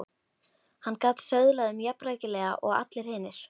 Hann gat söðlað um jafnrækilega og allir hinir.